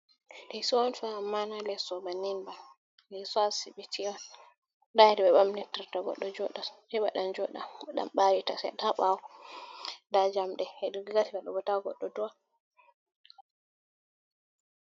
Lesso on fa ammana lesso bannin ba lesso asibiti on nda hedi be bamtirta goɗɗo joɗa heɓa ɗan joɗa oɗan ɓarita seɗɗa ha bawo nda jamɗe hedi glas mebota goɗɗo do'a.